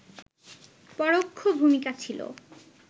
পরোক্ষ ভূমিকা ছিল